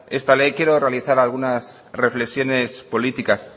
esta ley quiero realizar algunas reflexiones políticas